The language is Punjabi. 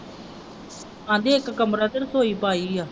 ਕਹਿੰਦੇ ਇਕ ਕਮਰਾ ਤੇ ਰਸੋਈ ਪਾਈ ਹੈ।